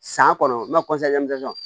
San kɔnɔ n b'a